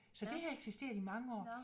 Så det har eksisteret i mange år